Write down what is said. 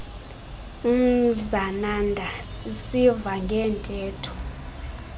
umzananda sisiva ngeentetho